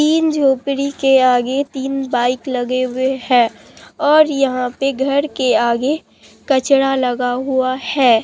इन झोपड़ी के आगे तीन बाइक लगे हुए हैं और यहां पे घर के आगे कचड़ा लगा हुआ है।